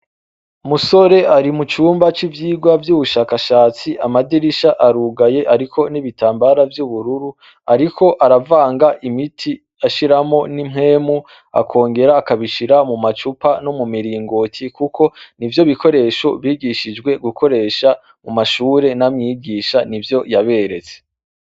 Umusore ari mu cumba c'ivyigwa vy'ubushakashatsi, amadirisha arugaye ariko n'ibitambara vy'ubururu ariko aravanga imiti ashiramwo n'impwemu akongera akabishira mu macupa no miringoti kuko nivyo bikoresho bigishijwe gukoresha mu mashure na mwigisha nivyo yaberetse.